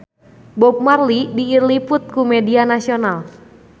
Bob Marley diliput ku media nasional